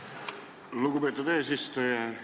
Aitäh, lugupeetud eesistuja!